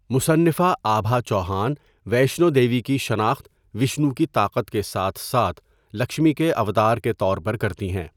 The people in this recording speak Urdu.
مصنفہ آبھا چوہان ویشنو دیوی کی شناخت وشنو کی طاقت کے ساتھ ساتھ لکشمی کے اوتار کے طور پر کرتی ہیں۔